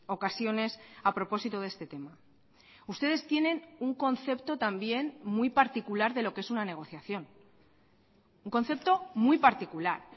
ocasiones a propósito de este tema ustedes tienen un concepto también muy particular de lo que es una negociación un concepto muy particular